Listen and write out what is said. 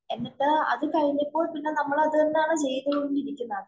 എന്നിട്ട് അത് കഴിഞ്ഞപ്പോള്‍ അത് തന്നെയാണ് ചെയ്തുകൊണ്ടിരിക്കുന്നത്..